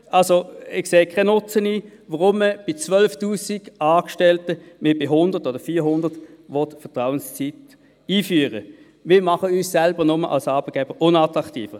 Ich sehe keinen Nutzen, wenn man bei 12 000 Angestellten wie auch bei 100 oder 400 die Vertrauensarbeitszeit einführt, sondern wir machen uns selber als Arbeitgeber nur unattraktiv.